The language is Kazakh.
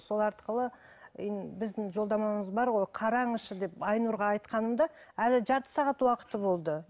сол арқылы біздің жолдамамыз бар ғой қараңызшы деп айнұрға айтқанымда әлі жарты сағат уақыты болды